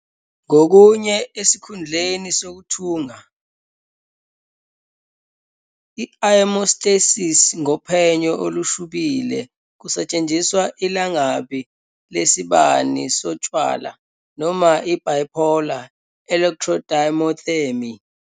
Ngokunye esikhundleni sokuthunga, " i-aemostasis ngophenyo olushubile kusetshenziswa ilangabi lesibani sotshwala noma i-bipolar electrodiathermy."